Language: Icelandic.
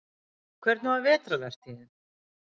Hvernig var vetrarvertíðin?